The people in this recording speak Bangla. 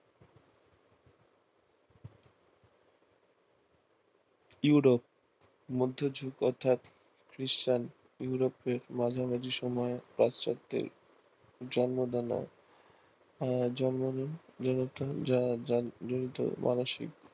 ইউরোপ মধ্যযুগ অর্থাৎ খ্রিষ্টান ইউরোপ এর মাঝামাঝি সময়ে পাশ্চাত্যের জনিত মানসিক